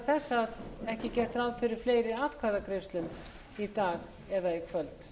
þess að ekki er gert ráð fyrir fleiri atkvæðagreiðslum í kvöld